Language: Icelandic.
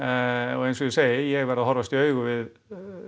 og eins og ég segi ég verð að horfast í augu við